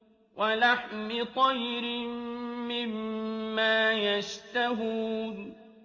وَلَحْمِ طَيْرٍ مِّمَّا يَشْتَهُونَ